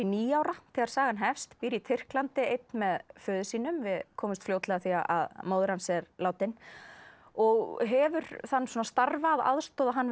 níu ára þegar sagan hefst býr í Tyrklandi einn með föður sínum við komumst fljótlega að því að móðir hans er látin og hefur þann starfa að aðstoða hann